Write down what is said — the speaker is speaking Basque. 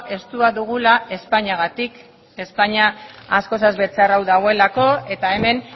estua dugula espainiagatik espainia askoz ere txarrago dagoelako eta hemen